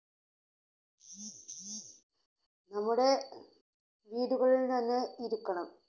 നമ്മുടെ വീടുകളിൽ തന്നെ ഇരിക്കണം,